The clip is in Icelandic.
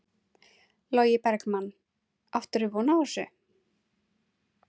Logi Bergmann: Áttir þú von á þessu?